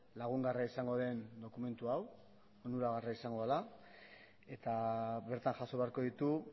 lagungarria izango den dokumentu hau onuragarria izango dela eta bertan jaso beharko ditu